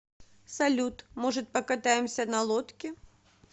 салют может покатаемся на лодке